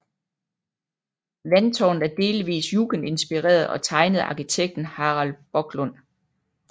Vandtårnet er delvist Jugendinspireret og tegnet af arkitekten Harald Boklund